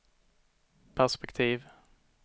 perspektiv